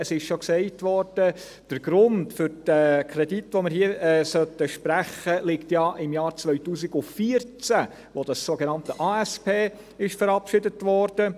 Es wurde schon gesagt, der Grund für diesen Kredit, den wir hier sprechen sollen, liege ja im Jahr 2014, als die sogenannte ASP verabschiedet wurde.